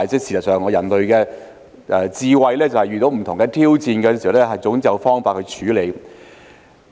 事實上，以人類的智慧，當遇到不同的挑戰時，總會有方法處理。